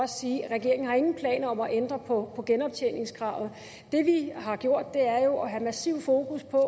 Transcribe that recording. sige at regeringen ingen planer har om at ændre på genoptjeningskravet det vi har gjort er jo at have massivt fokus på at